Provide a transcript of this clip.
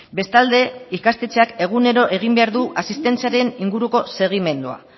bestalde ikastetxeak egunero egin behar du asistentziaren inguruko segimendua